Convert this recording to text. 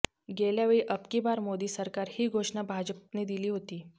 गेल्यावेळी अब की बार मोदी सरकार ही घोषणा भाजपने दिली होती